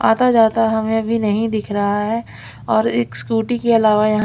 आता जाता हमें अभी नहीं दिख रहा है और एक स्कूटी के अलावा यहा--